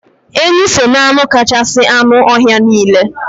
Enyi so n'anụ kasị anụ ọhịa niile.